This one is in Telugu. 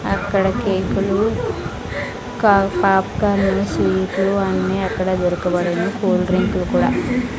అక్కడ కేకు లు కా పాప్కార్న్ లు అన్ని అక్కడ దొరుకబడును కూల్ డ్రింకు లు కూడా --